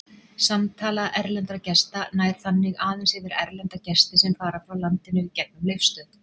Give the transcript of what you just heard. Samtala erlendra gesta nær þannig aðeins yfir erlenda gesti sem fara frá landinu gegnum Leifsstöð.